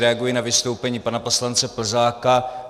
Reaguji na vystoupení pana poslance Plzáka.